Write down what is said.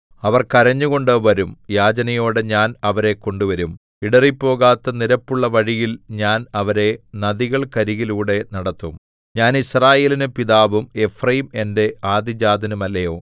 അവർ കരഞ്ഞുകൊണ്ട് വരും യാചനയോടെ ഞാൻ അവരെ കൊണ്ടുവരും ഇടറിപ്പോകാത്ത നിരപ്പുള്ള വഴിയിൽ ഞാൻ അവരെ നദികൾക്കരികിലൂടെ നടത്തും ഞാൻ യിസ്രായേലിന് പിതാവും എഫ്രയീം എന്റെ ആദ്യജാതനുമല്ലയോ